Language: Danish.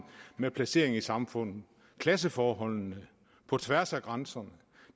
med placeringen i samfundet klasseforholdene på tværs af grænserne